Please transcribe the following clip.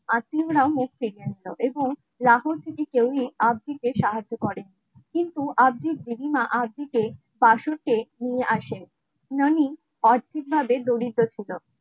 আত্মীয়রাও মুক্তি পেয়েছিল সাহায্য করে কিন্তু আর্থিক বাসর কেক নিয়ে আসে ননী অর্ধেক ভাবে দরিদ্র ছিল